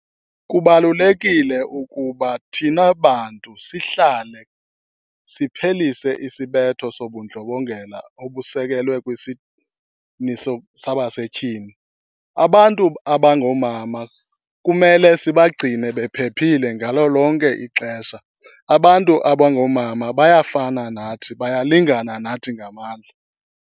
Kubalulekile ukuba thina bantu sihlale siphelise isibetho sobundlobongela obusekelwe sabasetyhini. Abantu abangoomama kumele sibagcine bephephile ngalo lonke ixesha. Abantu abangoomama bayafana nathi, bayalingana nathi ngamandla.